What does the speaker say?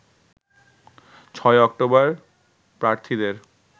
৬ October প্রার্থীদের